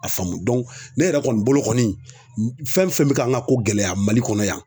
A faamu ne yɛrɛ kɔni bolo kɔni fɛn fɛn bɛ ka an ka ko gɛlɛya ma Mali kɔnɔ yan